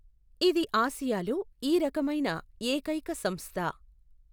ఇది ఆసియాలో ఈ రకమైన ఏకైక సంస్థ.